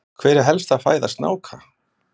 Hver er helsta fæða snáka?